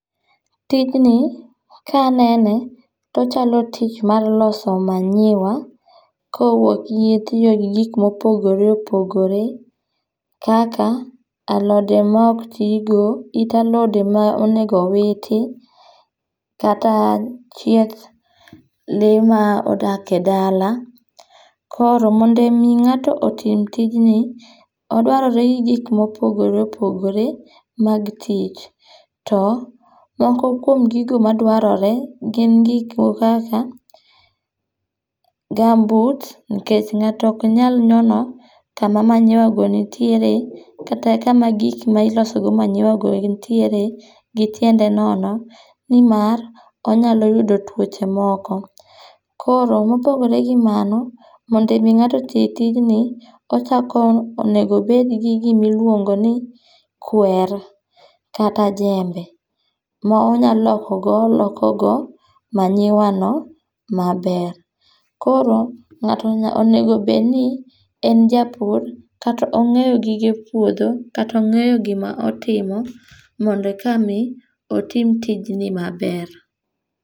Tijni ka anene, to ochalo tich mar loso manyiwa gi tiyo gi gik mopogore opogore. Kaka alode ma ok ti go, it alode ma onego owiti, kata chieth lee ma odak e dala. Koro mondo omi ngáto otim tijni, odwarore gi gik mogore opogore mag tich. To, moko kuom gigo madwarore gin gik moko kaka gumboots, nikech ngáto ok nyal nyono kama maniywa go nitiere, kata kama gik ma iloso go manyiwago nitiere, gi tiende nono. Ni mar, onyalo yudo tuoche moko. Koro mopogore gi mano, mondo omi ngáto oti tijni, ochako, onego obedgi gima iluongoni kwer kata jembe ma onyalo loko go oloko go manyiwano maber. Koro ngáto onego obed ni en japur, kata ongéyo gige puodho, kata ongéyo gima otimo, mondo eka mi, otim tijni maber.